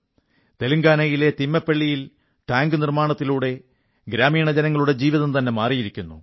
തെലുങ്കാനയിലെ തിമ്മൈപ്പള്ളിയിൽ ടാങ്ക് നിർമ്മാണത്തിലൂടെ ഗ്രാമീണജനങ്ങളുടെ ജീവിതം തന്നെ മാറിയിരിക്കുന്നു